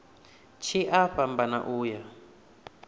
tshi a fhambana u ya